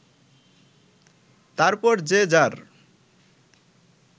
তারপর যে যার